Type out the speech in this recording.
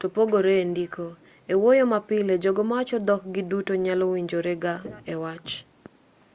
topogore endiko ewuoyo mapile jogo mawacho dhok gi duto nyalo winjorega ewach